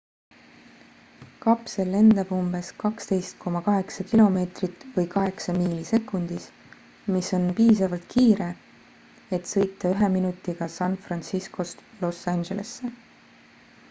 kapsel lendab umbes 12,8 km või 8 miili sekundis mis on piisavalt kiire et sõita ühe minutiga san franciscost los angelesse